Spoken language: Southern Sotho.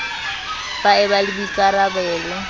ba e ba le boikarabalo